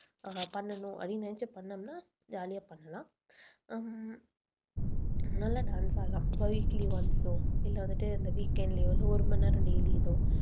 பண்ணணும் அப்படின்னு நினைச்சு பண்ணிணோம்னா jolly ஆ பண்ணலாம் உம் நல்லா dance ஆடலாம். once ஓ இல்லை வந்துட்டு இந்த weekend லயோ வந்து ஒரு மணி நேரம் daily ஏதோ